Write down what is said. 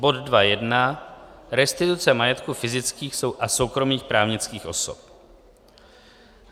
Bod 2.1 Restituce majetku fyzických a soukromých právnických osob